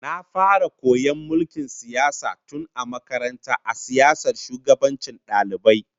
Na fara koyon mulkin siyasa tun a makaranta a siyasar shugabancin dalibai